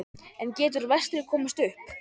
En getur Vestri komist upp?